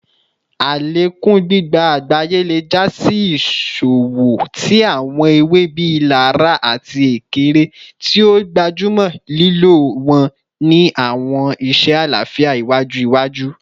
Alekun gbigba agbaye le ja si iṣowo ti awọn ewe bii laraa ati ekere, ti o gbajumọ lilo wọn ni awọn iṣe alafia iwaju iwaju.